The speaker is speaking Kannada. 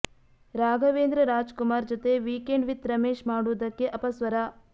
ರಾಘವೇಂದ್ರ ರಾಜ್ ಕುಮಾರ್ ಜತೆ ವೀಕೆಂಡ್ ವಿತ್ ರಮೇಶ್ ಮಾಡುವುದಕ್ಕೆ ಅಪಸ್ವರ